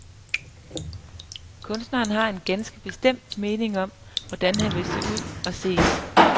Kunstneren har en ganske bestemt mening om, hvordan han vil se ud og ses.